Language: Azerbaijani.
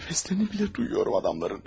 Nəfəslərini belə duyuram adamların.